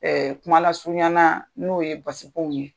kumala surunyanaa n'o ye basikow ye.